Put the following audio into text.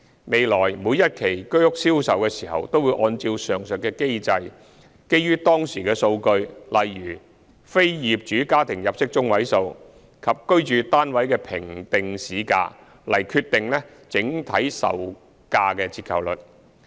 未來每一期居屋銷售的時候都會按照上述機制，基於當時的數據，例如非業主家庭入息中位數，以及居屋單位的評定市價，來決定整體售價折扣率。